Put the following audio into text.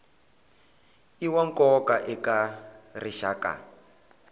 i wa nkoka eka rixaka